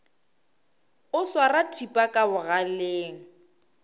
o swara thipa ka bogaleng